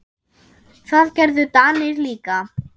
Það gerðu Danir líka.